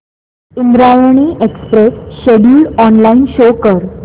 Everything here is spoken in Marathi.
Indrayani express schedule online show कर